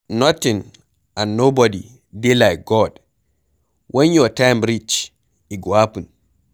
Nothing and nobody dey like God. Wen your time reach e go happen